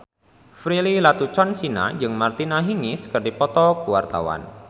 Prilly Latuconsina jeung Martina Hingis keur dipoto ku wartawan